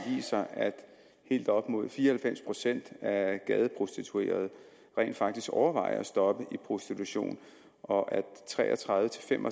viser at helt op mod fire og halvfems procent af de gadeprostituerede rent faktisk overvejer at stoppe i prostitution og tre og tredive til fem